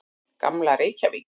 Gamla Reykjavík.